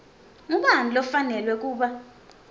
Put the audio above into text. ngubani lofanelwe kuba